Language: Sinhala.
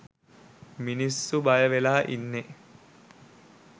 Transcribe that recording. මිනිස්සු බය වෙලා ඉන්නෙ